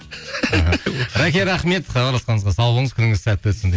рәке рахмет хабарласқаныңызға сау болыңыз күніңіз сәтті өтсін